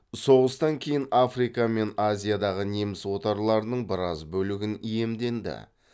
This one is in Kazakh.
соғыстан кейін африка мен азиядағы неміс отарларының біраз бөлігін иемденді